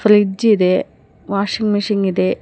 Fridge ಇದೆ washing machine ಇದೆ.